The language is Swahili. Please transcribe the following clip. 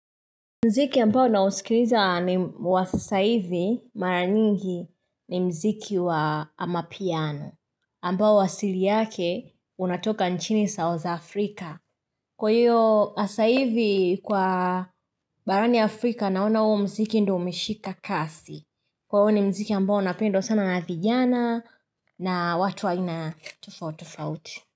Muziki ambao naisikiliza ni wa sasa hivi mara nyingi ni mziki wa amapiano ambao wasili yake unatoka nchini South Afrika Kwa hiyo sasa hivi kwa barani Afrika naona uo mziki ndo umeshika kasi kwa hiyo ni mziki ambao unapendwa sana na vijana na watu wa aina tofautofauti.